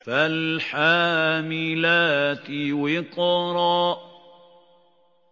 فَالْحَامِلَاتِ وِقْرًا